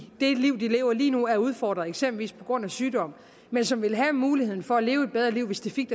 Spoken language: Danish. det liv de lever lige nu er udfordret eksempelvis på grund af sygdom men som vil have muligheden for at leve et bedre liv hvis de fik